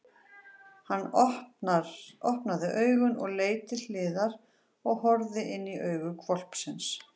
Hann opnaði augun og leit til hliðar og horfði inní augu hvolpsins!